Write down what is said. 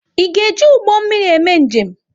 Ị ga-eji ụgbọ mmiri eme njem?